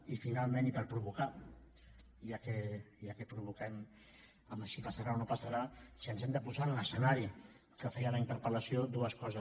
i finalment i per provocar ja que provoquem amb si passarà o no passarà si ens hem de posar en l’escenari que feia la interpel·lació dues coses